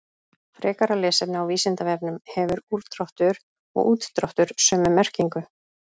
Frekara lesefni á Vísindavefnum: Hefur úrdráttur og útdráttur sömu merkingu?